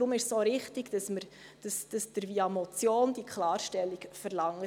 Deshalb ist es auch richtig, dass Sie diese Klarstellung via Motion verlangen.